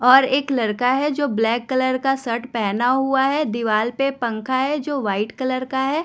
और एक लड़का है जो ब्लैक कलर का शर्ट पहना हुआ है। दीवाल पर पंखा है जो वाइट कलर का है।